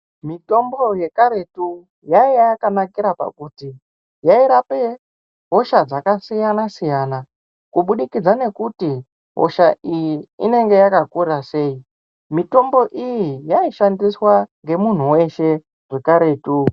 Mitombo yekaretu yaiya yakanakira pakuti yairape hosha dzakasiyana siyana kuburikidza ngekuti hosha iyi inenge yakakura sei, mitombo iyi yaishandiswa nemunhu weshe wekaretu.